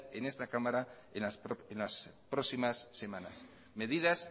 en esta cámara en las próximas semanas medidas